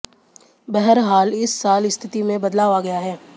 बहरहाल इस साल स्थिति में बदलाव आ गया है